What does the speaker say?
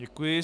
Děkuji.